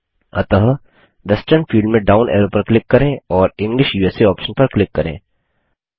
अतः western field में down arrow पर क्लिक करें और इंग्लिश उसा ऑप्शन पर क्लिक करें